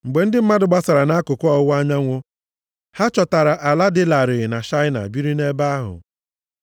Mgbe ndị mmadụ gbasara nʼakụkụ ọwụwa anyanwụ ha chọtara ala dị larịị na Shaịna biri nʼebe ahụ.